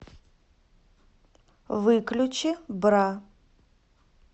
выключи бра